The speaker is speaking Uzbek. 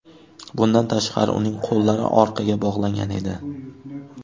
Bundan tashqari uning qo‘llari orqaga bog‘langan edi.